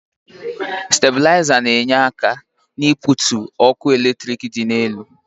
staibulizer na enyere aka n'ibutu ọkụ eletrik dị elu